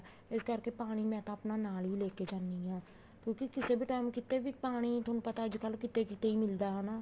ਇਸ ਕਰਕੇ ਪਾਣੀ ਮੈਂ ਤਾਂ ਆਪਣਾ ਨਾਲ ਹੀ ਲੈਕੇ ਜਾਂਦੀ ਹਾਂ ਕਿਉਂਕਿ ਕਿਸੇ ਵੀ time ਕਿਤੇ ਵੀ ਪਾਣੀ ਤੁਹਾਨੂੰ ਪਤਾ ਅੱਜਕਲ ਕਿਤੇ ਕਿਤੇ ਹੀ ਮਿਲਦਾ ਹਨਾ